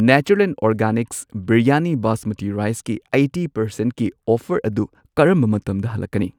Natureland organics biryani basmati ꯔꯥꯏꯁꯀꯤ eighty ꯄꯔꯁꯦꯟꯠꯀꯤ offer ꯑꯗꯨ ꯀꯔꯝꯕ ꯃꯇꯝꯗ ꯍꯜꯂꯛꯀꯅꯤ?